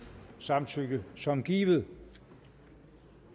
samtykke som givet